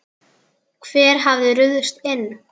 Hver hafði ruðst inn?